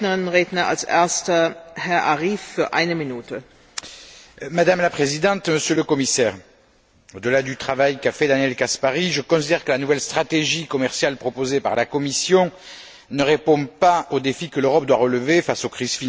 Madame la Présidente, Monsieur le Commissaire, au delà du travail qu'a fait Daniel Caspary, je considère que la nouvelle stratégie commerciale proposée par la Commission ne répond pas aux défis que l'Europe doit relever face aux crises financières, économiques, sociales, environnementales et alimentaires que nous traversons,